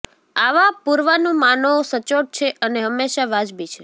આવા પૂર્વાનુમાનો સચોટ છે અને હંમેશા વાજબી છે